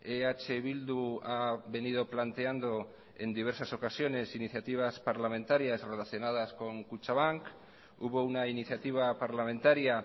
eh bildu ha venido planteando en diversas ocasiones iniciativas parlamentarias relacionadas con kutxabank hubo una iniciativa parlamentaria